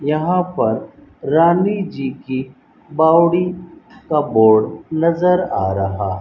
यहां पर रानी जी की बावड़ी का बोर्ड नजर आ रहा --